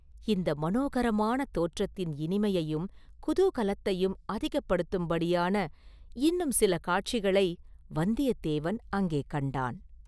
இந்த மனோகரமான தோற்றத்தின் இனிமையையும் குதூகலத்தையும் அதிகப்படுத்தும்படியான இன்னும் சில காட்சிகளை வந்தியத்தேவன் அங்கே கண்டான்.